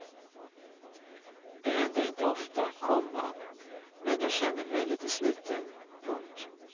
Det händer inte ofta, komma men jag känner mig lite sliten. punkt